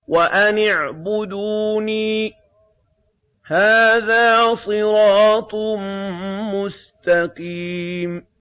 وَأَنِ اعْبُدُونِي ۚ هَٰذَا صِرَاطٌ مُّسْتَقِيمٌ